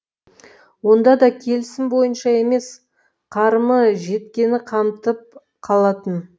онда да келісім бойынша емес қарымы жеткені қамтып қалатын